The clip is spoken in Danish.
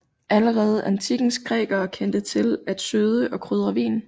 Allerede antikkens grækere kendte til at søde og krydre vin